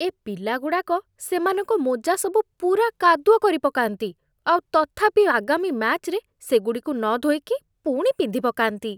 ଏ ପିଲାଗୁଡ଼ାକ ସେମାନଙ୍କ ମୋଜା ସବୁ ପୂରା କାଦୁଅ କରିପକାନ୍ତି, ଆଉ ତଥାପି ଆଗାମୀ ମ୍ୟାଚ୍‌ରେ ସେଗୁଡ଼ିକୁ ନଧୋଇକି ପୁଣି ପିନ୍ଧିପକାନ୍ତି ।